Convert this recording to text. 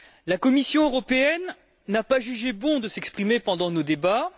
La Commission européenne n'a pas jugé bon de s'exprimer pendant nos débats.